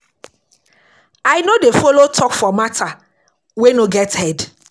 I no dey folo tok for mata wey no get head.